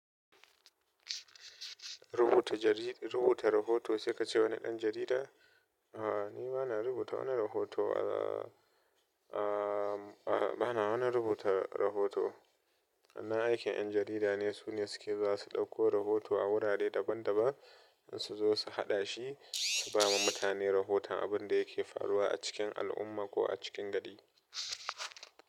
Rubuta jarid-- rubuta rahoto sai ka ce wani ɗan jarida? A'a ni ba na rubuta wani rahoto a a'a ba na wani rubuta rahoto. Wannan aikin 'yan jarida ne, su ne suke za su ɗauko rahoto a wurare daban-daban in su zo su haɗa shi, su ba ma mutane rahoton abin da yake faruwa a cikin al'umma ko a cikin gari.